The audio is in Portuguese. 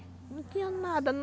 Não tinha nada.